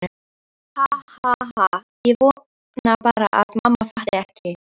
Ha ha ha- ég vona bara að mamma fatti ekki.